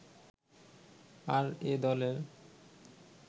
আর এ দলের